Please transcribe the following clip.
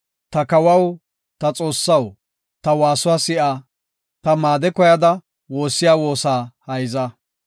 Ta kawaw, ta Xoossaw ta waasuwa si7a; ta maade koyada woossiya woosaa hayza.